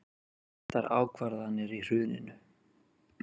Réttar ákvarðanir í hruninu